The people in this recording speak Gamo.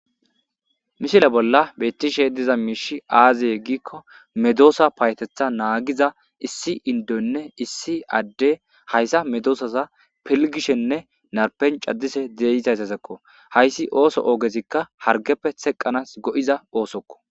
mishile bolla bettishe diza miishi aaziye giikko medoosa payetetha naagiza issi indonne issi adde hayssa medoosaza pilgishenne narpen caddise deyizaysasekko hayssi ooso oogezikka hargeppe seqqanas go7iza oosokko